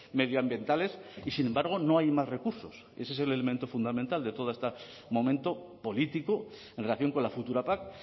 medioambientales y sin embargo no hay más recursos ese es el elemento fundamental de toda este momento político en relación con la futura pac